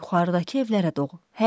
Yuxarıdakı evlərə doğru.